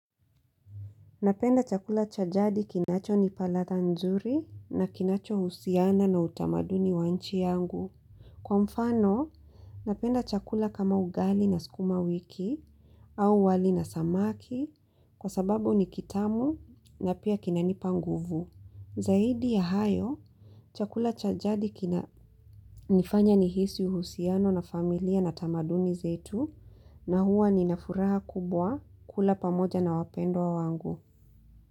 Napenda chakula cha jadi kinachonipa ladha nzuri na kinacho husiana na utamaduni wa nchi yangu. Kwa mfano, napenda chakula kama ugali na skumawiki au wali na samaki kwa sababu ni kitamu na pia kinanipa nguvu. Zaidi ya hayo, chakula cha jadi kinanifanya nihisi uhusiano na familia na tamaduni zetu na huwa nina furaha kubwa kula pamoja na wapendwa wangu.